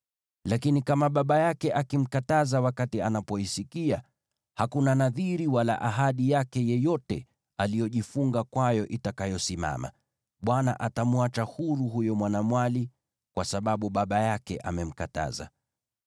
Lakini kama baba yake akimkataza wakati anapoisikia, hakuna nadhiri wala ahadi yake yoyote aliyojifunga kwayo itakayosimama; Bwana atamweka huru huyo mwanamwali kwa sababu baba yake amemkataza.